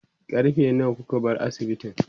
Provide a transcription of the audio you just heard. karfe nawa kuka bar asibitin?